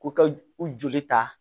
Ko ka u joli ta